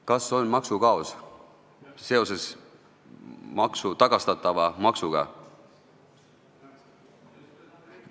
Kas on maksukaos seoses tagastatava maksuga?